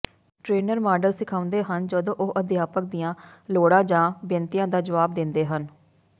trainer model ਸਿਖਾਉਂਦੇ ਹਨ ਜਦੋਂ ਉਹ ਅਧਿਆਪਕ ਦੀਆਂ ਲੋੜਾਂ ਜਾਂ ਬੇਨਤੀਆਂ ਦਾ ਜਵਾਬ ਦਿੰਦੇ ਹਨ